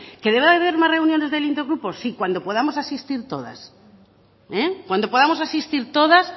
que debe de haber más reuniones del intergrupo sí cuando podamos asistir todas cuando podamos asistir todas